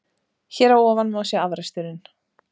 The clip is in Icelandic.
Hér að ofan má sjá afraksturinn.